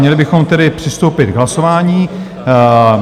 Měli bychom tedy přistoupit k hlasování.